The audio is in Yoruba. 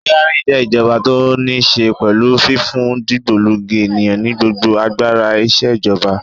Tíránì jẹ́ ìjọba tó níí ṣe pẹ̀lú fífún dìgbòlugi ènìyàn ní gbogbo agbára ìṣèjọba.